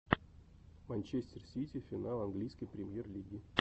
манчестер сити финал английской премьер лиги